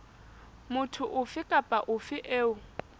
motho ofe kapa ofe eo